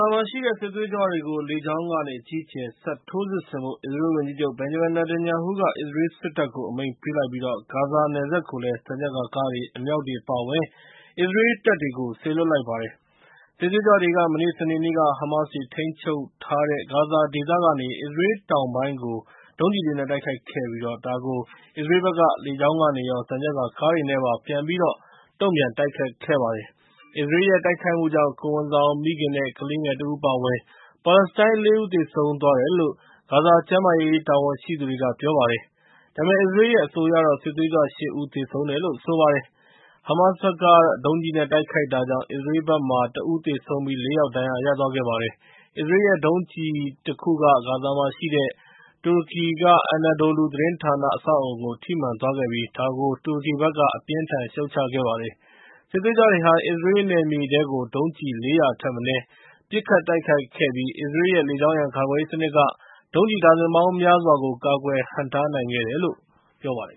ာမှာရှိတဲ့ စစ်သွေးကြွတွေကို လေကြောင်းကနေ အကြီးအကျယ် ဆက်ထိုးစစ်ဆင်ဖို့ အစ္စရေးလ်ဝန်ကြီးချုပ် Benjamin Netanyahu က အစ္စရေးလ်စစ်တပ်ကို အမိန့်ပေးလိုက်ပြီး၊ ဂါဇာနယ်စပ်ကိုလည်း သံချပ်ကာကားတွေ၊ အမြောက်တွေ အပါအဝင် အစ္စရေးတပ်တွေကိုလည်း စေလွှတ်လိုက်ပါတယ်။ စစ်သွေးကြွတွေက မနေ့စနေနေ့က ဟမားစ်တွေ ထိန်းချုပ်ထားတဲ့ ဂါဇာဒေသက အစ္စရေးလ်တောင်ပိုင်း ကို ဒုံးကျည်တွေနဲ့ တိုက်ခိုက်ခဲ့ပြီး၊ ဒါကို အစ္စရေးလ်ဘက်က လေကြောင်းကနေရော၊ သံချပ်ကာကားတွေနဲ့ ပြန်ပြီးတော့ တုံ့ပြန်တိုက်ခိုက်ခဲ့ပါတယ်။ အစ္စရေးရဲ့ တိုက်ခိုက်မှုကြောင့် ကိုယ်ဝန်ဆောင်မိခင်နဲ့ ကလေးငယ်တဦးအပါအဝင် ပါလက်စတိုင်း ၄ ဦး သေဆုံးခဲ့တယ်လို့ ဂါဇာကျန်းမားရေး တာဝန်ရှိသူတွေကပြောပါတယ်။ ဒါပေမဲ့ အစ္စရေးလ်ရဲ့ အဆိုအရတော့ စစ်သွေးကြွ ၈ ဦး သေဆုံးခဲ့တယ်လို့ ပြောပါတယ်။ ဟမားစ်ဘက်က ဒုံးကျည်နဲ့ တိုက်ခိုက်တာကြောင့် အစ္စရေးလ် ၁ ဦးသေဆုံးပြီး ၄ ယောက် ဒဏ်ရာရသွားခဲ့ပါတယ်။ အစ္စရေးလ်ရဲ့ ဒုံးကျည် တခုက ဂါဇာမှာရှိတဲ့ တူရကီ Anadolou သတင်းဌာန အဆောက်အအုံထိမှန်သွားခဲ့ပြီး၊ ဒါကို တူရကီဘက်က အပြင်းအထန်ရှုတ်ချခဲ့ပါတယ်။ စစ်သွေးကြွတွေဟာ အစ္စရေးလ်နယ်မြေထဲကို ဒုံးကျည် ၄၀၀ ထက်မနည်း နဲ့ ပစ်ခတ်တိုက်ခိုက်ခဲ့ပြီး အစ္စရေးလ်ရဲ့ လေကြောင်းရန်ကာကွယ်ရေးစနစ်က ဒုံးကျည်ဒါဇင်ပေါင်းများစွားကို ကာကွယ်ဟန့်တားနိုင်ခဲ့တယ်လို့ ပြောပါတယ်